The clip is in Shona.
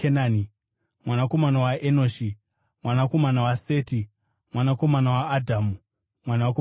mwanakomana waEnoshi, mwanakomana waSeti, mwanakomana waAdhamu, mwanakomana waMwari.